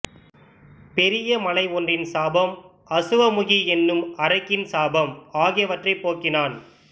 பெரிய மலை ஒன்றின் சாபம் அசுவமுகி என்னும் அரக்கியின் சாபம் ஆகியவற்றைப் போக்கினான்